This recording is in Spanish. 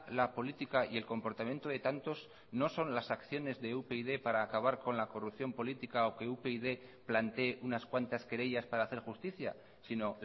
la política y el comportamiento de tantos no son las acciones de upyd para acabar con la corrupción política o que upyd plantee unas cuantas querellas para hacer justicia sino